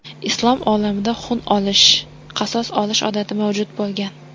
Islom olamida xun olish, qasos olish odati mavjud bo‘lgan.